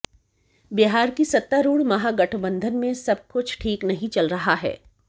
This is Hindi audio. बिहार की सत्तारूढ़ महागठबंधन में सब कुछ ठीक नहीं चल रहा है